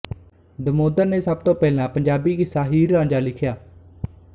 ਦਮੋਦਰਨੇ ਸਭ ਤੋਂ ਪਹਿਲਾ ਪੰਜਾਬੀ ਕਿੱਸਾ ਹੀਰ ਰਾਂਝਾ ਲਿਖਿਆ